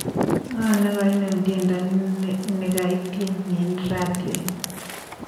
Ngo negainem tyendo nigaityeni eng ratioit?